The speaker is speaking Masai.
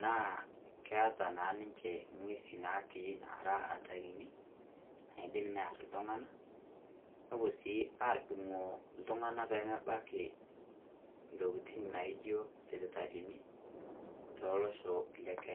naa keeta naa ninchee nkuesi natii naara atarini, naidim nearr ltung'ana. Nopoo sii audung'o ltung'ana pee meebaki ntokitin naijo sipitalini tolosho le Kenya.